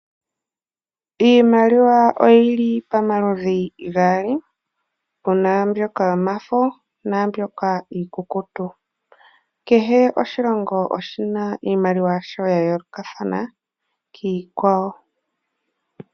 Iimaliwa oyili pomaludhi gaali puna mbyoka yomafo naambyoka iikukutu. Kehe oshilongo oshina iimaliwa yasho ya yoolokathana kiikwawo .